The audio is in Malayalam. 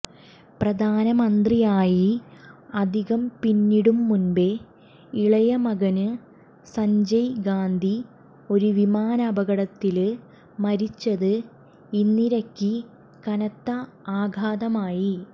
പ്രധാനമന്ത്രിയായി അധികം പിന്നിടും മുമ്പേ ഇളയ മകന് സഞ്ജയ് ഗാന്ധി ഒരു വിമാനാപകടത്തില് മരിച്ചത് ഇന്ദിരയ്ക്ക് കനത്ത ആഘാതമായി